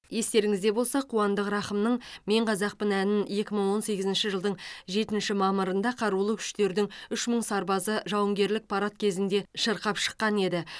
естеріңізде болса қуандық рақымның мен қазақпын әнін екі мың он сегізінші жылдың жетінші мамырында қарулы күштердің үш мың сарбазы жауынгерлік парад кезінде шырқап шыққан еді